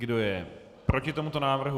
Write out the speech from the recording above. Kdo je proti tomuto návrhu?